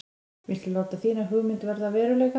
Viltu láta þína hugmynd verða að veruleika?